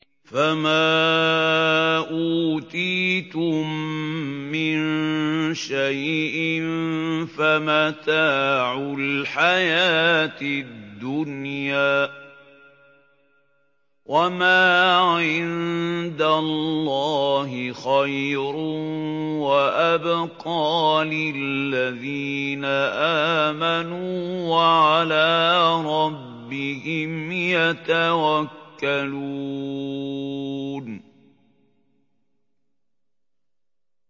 فَمَا أُوتِيتُم مِّن شَيْءٍ فَمَتَاعُ الْحَيَاةِ الدُّنْيَا ۖ وَمَا عِندَ اللَّهِ خَيْرٌ وَأَبْقَىٰ لِلَّذِينَ آمَنُوا وَعَلَىٰ رَبِّهِمْ يَتَوَكَّلُونَ